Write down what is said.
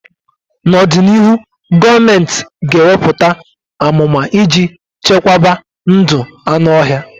N'ọdịnịhụ, gọọmentị ga-eweputa amụma iji chekwaba ndụ anụ ọhịa.